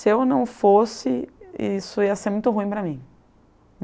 Se eu não fosse, isso ia ser muito ruim para mim.